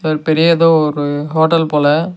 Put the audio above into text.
இது பெரிய எதோ ஒரு ஹோட்டல் போல.